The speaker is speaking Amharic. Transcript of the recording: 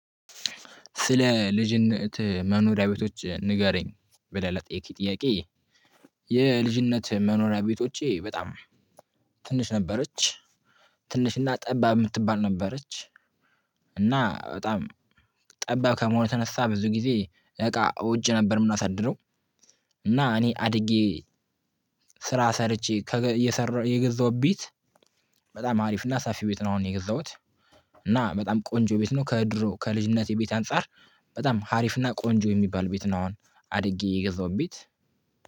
ስለ ልጅነት መኖሪያ ቤቶች ንገረኝ ብለህ ለጠየከኝ ጥያቄ። የልጅነት መኖሪያ ቤቶቼ በጣም። ትንሽ ነበረች ትንሽና ጠባብ የምትባል ነበረች። እና በጣም ጠባብ ከመሆኑ የተነሳ ብዙ ጊዜ እቃ ውጪ ነበር የምናሳድረው። እና እኔ አድጌ ስራ ሰርቼ እየሰራሁ የገዛሁት ቤት። በጣም ሀሪፍና ሰፊ ቤት ነው አሁን የገዛሁት። እና በጣም ቆንጆ ቤት ነው ከድሮ ከልጅነቴ ቤት አንፃር በጣም ሀሪፍና ቆንጆ የሚባል ቤት ነው። አሁን አድጌ የገዛው ቤት